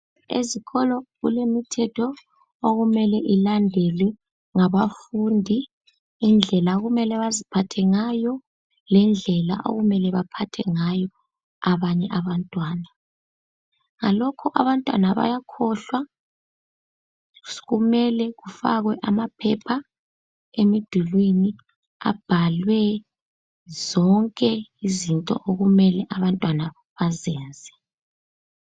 Ezikolo kulemithetho okumele ilandelwe ngabafundi. Indlela okumele baziphathe ngayo lendlela okumele baphathe ngayo abanye abantwana. Ngalokho abantwana bayakhohlwa, kumele kufakwe amaphepha emdulwini abhalwe zonke izinto okumele abantwana bazenze.